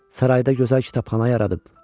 Sarayda gözəl kitabxana yaradıb.